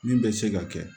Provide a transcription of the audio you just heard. Min bɛ se ka kɛ